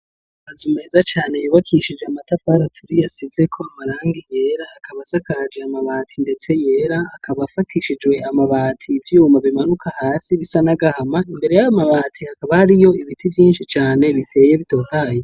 Amazu meza cane yubakishijwe amatafari aturiye asizeko amarangi yera akaba hasakaje amabati ndetse yera akaba afatishijwe amabati ivyuma bimanuka hasi bisa nagahama imbere yayo mabati hakaba hariyo ibiti vyinshi cane biteye bitotaye.